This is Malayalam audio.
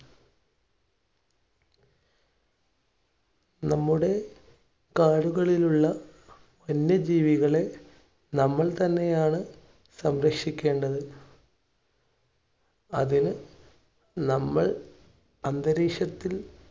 നമ്മുടെ കാടുകളിലുള്ള വന്യജീവികളെ നമ്മൾ തന്നെയാണ് സംരക്ഷിക്കേണ്ടത് അതിന് നമ്മൾ അന്തരീക്ഷത്തിൽ